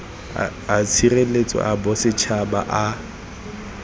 a tshireletso a bosetšhaba a